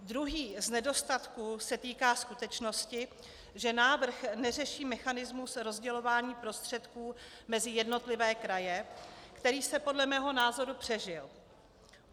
Druhý z nedostatků se týká skutečnosti, že návrh neřeší mechanismus rozdělování prostředků mezi jednotlivé kraje, který se podle mého názoru přežil.